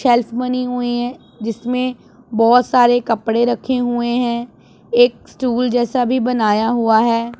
Shelf बनी हुई हैं जिसमें बहोत सारे कपड़े रखे हुए हैं एक स्टूल जैसा भी बनाया हुआ है।